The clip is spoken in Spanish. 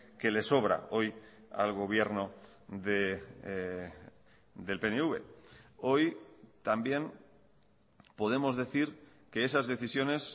que le sobra hoy al gobierno del pnv hoy también podemos decir que esas decisiones